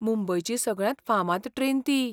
मुंबयची सगळ्यांत फामाद ट्रेन ती.